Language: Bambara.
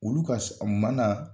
Olu ka ma na